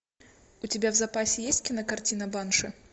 у тебя в запасе есть кинокартина банши